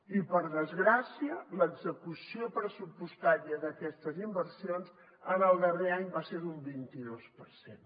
i per desgràcia l’execució pressupostària d’aquestes inversions en el darrer any va ser d’un vint i dos per cent